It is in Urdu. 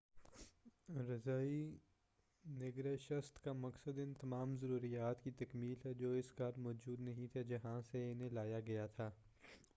رضاعی نگہداشت کا مقصد ان تمام ضروریات کی تکمیل ہے جو اس گھر موجود نہیں تھے جہاں سے انہیں لایا گیا تھا